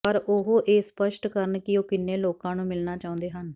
ਪਰ ਉਹ ਇਹ ਸਪੱਸ਼ਟ ਕਰਨ ਕਿ ਉਹ ਕਿੰਨੇ ਲੋਕਾਂ ਨੂੰ ਮਿਲਣਾ ਚਾਹੁੰਦੇ ਹਨ